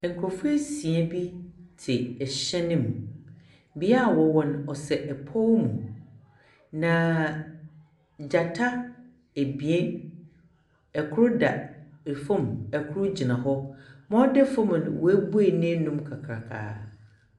Nkurɔfo esia bi te hyɛn mu. Bea a wɔwɔ no, ɔsɛ pɔw mu, na gyata ebien, kor da fam, kor gyina hɔ. Ma ɔda fam no, woebue n'enum kakrakaa.